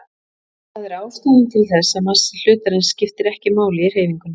Það er ástæðan til þess að massi hlutarins skiptir ekki máli í hreyfingunni.